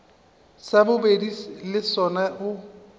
sa bobedi le sona o